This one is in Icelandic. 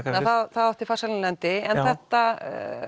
það átti farsælan endi en þetta